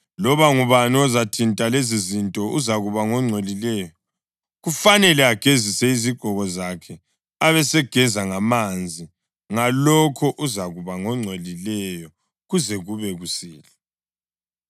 Loba ngubani ozathinta lezizinto uzakuba ngongcolileyo; kufanele agezise izigqoko zakhe abesegeza ngamanzi, ngalokho uzakuba ngongcolileyo kuze kube kusihlwa.